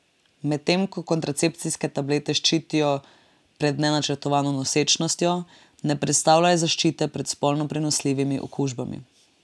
Medtem ko kontracepcijske tablete ščitijo pred nenačrtovano nosečnostjo, ne predstavljajo zaščite pred spolno prenosljivimi okužbami.